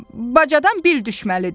Bacadana bil düşməlidir.